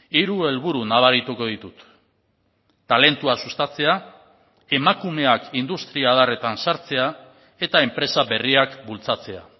hiru helburu nabarituko ditut talentua sustatzea emakumeak industria adarretan sartzea eta enpresa berriak bultzatzea